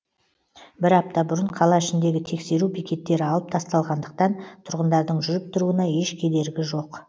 бір апта бұрын қала ішіндегі тексеру бекеттері алып тасталғандықтан тұрғындардың жүріп тұруына еш кедергі жоқ